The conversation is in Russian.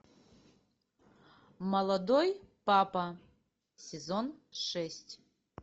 молодой папа сезон шесть